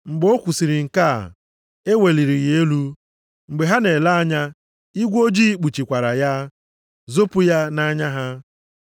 Mgbe o kwusiri nke a, e weliri ya elu mgbe ha na-ele anya, igwe ojii kpuchikwara ya, zopu ya nʼanya ha.